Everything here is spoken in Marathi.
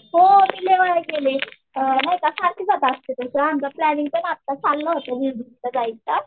हो मी लई वेळा गेले. नाही का सारखी जात असते आमचा प्लॅनिंग पण आत्ता चाललं होतं जायचं